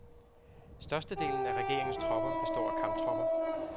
Størstedelen af regeringens tropper består af kamptropper.